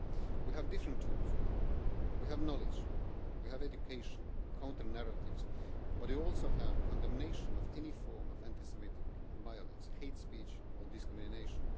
We have different tools we have knowledge, we have education, we have counter narratives, but we also have condemnation of any form of anti Semitic violence, hate speech or discrimination.